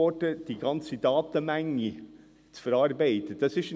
Es ist schwierig, die ganze Datenmenge zu verarbeiten.